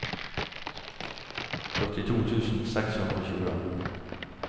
førtito tusen seks hundre og tjue